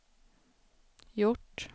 gjort